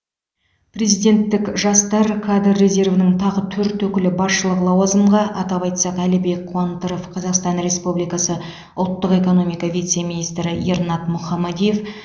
президенттік жастар кадр резервінің тағы төрт өкілі басшылық лауазымға атап айтсақ әлібек қуантыров қазақстан республикасы ұлттық экономика вице министрі ернат мұхамадиев